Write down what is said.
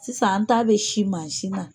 Sisan an taa bɛ sin masi na